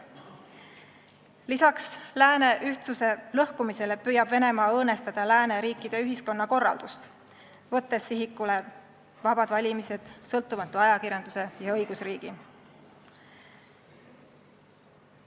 Lisaks lääne ühtsuse lõhkumisele püüab Venemaa õõnestada lääneriikide ühiskonnakorraldust, võttes sihikule vabad valimised, sõltumatu ajakirjanduse ja õigusriigi.